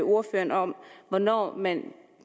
ordføreren om hvornår man